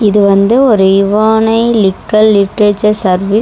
இது வந்து ஒரு இவான்ஐலிக்கல் லிட்ரேச்சர் சர்வீஸ் .